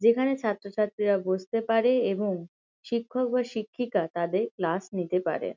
যেখানে ছাত্রছাত্রীরা বসতে পারে এবং শিক্ষক বা শিক্ষিকা তাদের ক্লাস নিতে পারে।